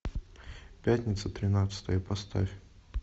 пятница тринадцатое поставь